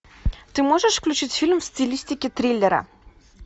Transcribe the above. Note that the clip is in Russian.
ты можешь включить фильм в стилистике триллера